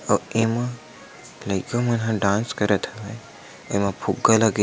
आके इमा लइका मन ह डांस करत हवै एमे फुग्गा लगे --